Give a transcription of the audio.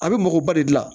A bɛ mɔgɔba de gilan